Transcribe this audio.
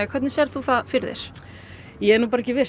hvernig sérðu það fyrir þér ég er ekki viss